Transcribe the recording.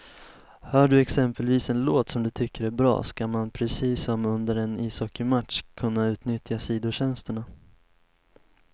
Hör du exempelvis en låt som du tycker är bra, ska man precis som under en ishockeymatch kunna utnyttja sidotjänsterna.